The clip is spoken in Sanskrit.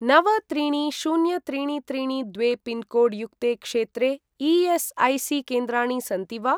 नव त्रीणि शून्य त्रीणि त्रीणि द्वे पिन्कोड् युक्ते क्षेत्रे ई.एस्.ऐ.सी.केन्द्राणि सन्ति वा?